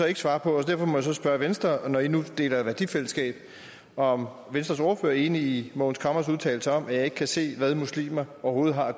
ikke svare på og derfor må jeg så spørge venstre når i nu deler værdifællesskab om venstres ordfører er enig i mogens camres udtalelser om at han ikke kan se hvad muslimer overhovedet har